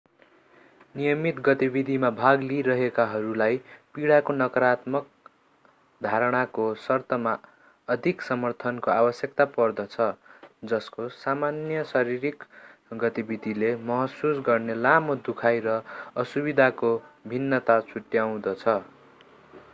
नियमित गतिविधिमा भाग लिइरहेकाहरूलाई पीडाको नकारात्मक धारणाको सर्तमा अधिक समर्थनको आवश्यकता पर्दछ जसको सामान्य शारीरिक गतिविधिले महसुस गर्ने लामो दुखाइ र असुविधाको भिन्नता छुट्याउँदछ